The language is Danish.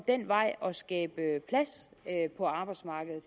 den vej at skabe plads på arbejdsmarkedet